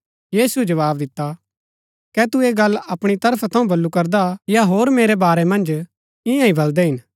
यीशुऐ जवाव दिता कै तू ऐह गल्ल अपणी तरफा थऊँ बल्लू करदा हा या होर मेरै बारै मन्ज ईयांईं बलदै हिन